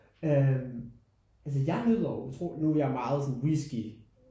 Øh altså jeg nyder utro nu er jeg meget sådan whisky